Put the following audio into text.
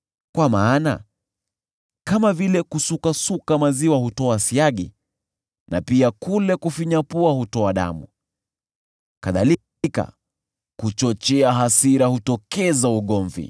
Kwa maana kama vile kusukasuka maziwa hutoa siagi, na pia kule kufinya pua hutoa damu, kadhalika kuchochea hasira hutokeza ugomvi.”